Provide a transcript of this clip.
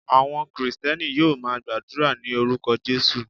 Àwọn Kristẹni yóò máa gbàdúrà ní orúkọ Jesus.